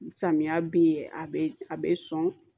Samiya bi a be a be sɔn